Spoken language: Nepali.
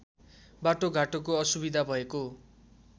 बाटोघाटोको असुविधा भएको